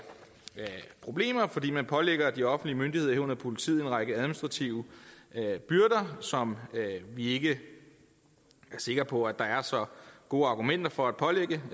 problemer fordi man pålægger de offentlige myndigheder herunder politiet en række administrative byrder som vi ikke er sikre på at der er så gode argumenter for at pålægge